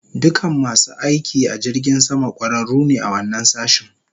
Dukan masu aiki a jirgin sama, kwararu ne a wannan sashin